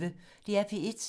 DR P1